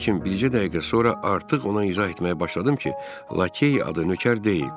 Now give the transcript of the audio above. Lakin bircə dəqiqə sonra artıq ona izah etməyə başladım ki, lakey adı nökər deyil.